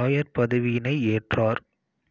ஆயர்பதவியினை ஏற்றார்